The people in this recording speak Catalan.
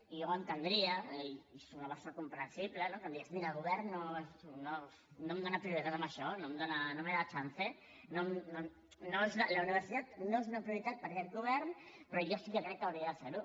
i jo ho entendria i soc una persona comprensible no que em digués mira el govern no em dona prioritat en això no me da chance la universitat no és una prioritat per aquest govern però jo sí que crec que hauria de ser ho